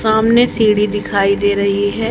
सामने सीढ़ी दिखाई दे रही है।